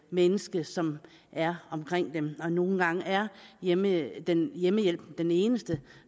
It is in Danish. menneske som er omkring en og nogle gange er hjemmehjælpen hjemmehjælpen den eneste